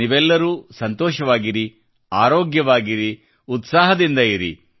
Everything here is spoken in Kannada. ನೀವೆಲ್ಲರೂ ಸಂತೋಷವಾಗಿರಿ ಆರೋಗ್ಯವಾಗಿರಿ ಮತ್ತು ಉತ್ಸಾಹದಿಂದ ಇರಿ